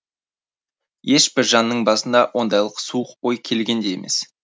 ешбір жанның басына ондайлық суық ой келген де емес